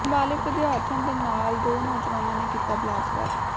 ਨਾਬਾਲਿਗ ਵਿਦਿਆਰਥਣ ਦੇ ਨਾਲ ਦੋ ਨੌਜਵਾਨਾਂ ਨੇ ਕੀਤਾ ਬਲਾਤਕਾਰ